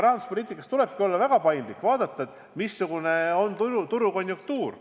Rahanduspoliitikas tulebki olla väga paindlik, vaadata, missugune on turukonjunktuur.